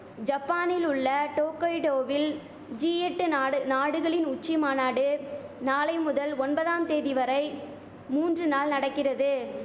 ஜப்பானில் உள்ள டோக்கைடோவில் ஜி எட்டு நாடு நாடுகளின் உச்சி மாநாடு நாளை முதல் ஒன்பதாம் தேதி வரை மூன்று நாள் நடக்கிறது